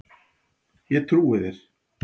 Ég trúi þér